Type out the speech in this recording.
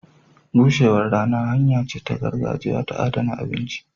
Bushewar rana hanya ce ta gargajiya ta adana abinci.